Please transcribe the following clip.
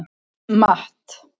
Matt